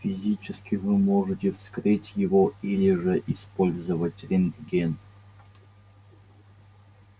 физически вы можете вскрыть его или же использовать рентген